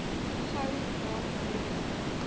gou laat breek